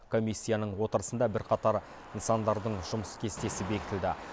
комиссияның отырысында бірқатар нысандардың жұмыс кестесі бекітілді